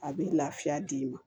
A bɛ lafiya d'i ma